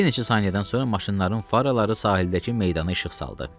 Bir neçə saniyədən sonra maşınların faraları sahildəki meydana işıq saldı.